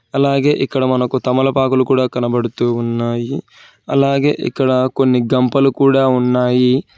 అలాగే ఇక్కడ మనకు తమలపాకులు కూడా కనబడుతూ ఉన్నాయి అలాగే ఇక్కడ కొన్ని గంపలు కూడా ఉన్నాయి.